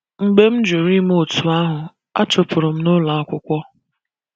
Mgbe m jụrụ ime otú ahụ, a chụpụrụ m n’ụlọ akwụkwọ.